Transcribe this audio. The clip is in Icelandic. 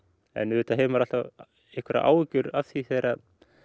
en auðvitað hefur maður alltaf einhverjar áhyggjur af því þegar